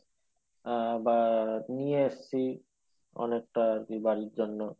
আহ বা নিয়ে এসছি অনেকটা আরকি বাড়ির জন্য